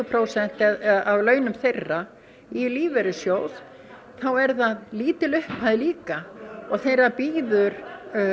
prósenta af launum þeirra í lífeyrissjóð þá er það lítil upphæð líka og þeirra bíður